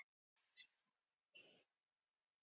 Kveðja, Rakel Jóna.